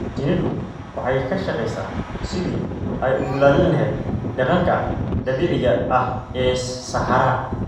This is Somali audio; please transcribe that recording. Shinnidu waxay ka shaqeysaa sidii ay u ilaalin lahayd deegaanka dabiiciga ah ee saxaraha.